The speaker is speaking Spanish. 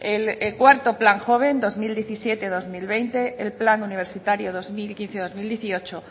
el cuarto plan joven dos mil diecisiete dos mil veinte el plan universitario dos mil quince dos mil dieciocho